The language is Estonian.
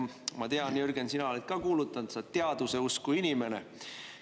Ma tean, Jürgen, sina oled ka kuulutanud, et sa oled teaduse usku inimene.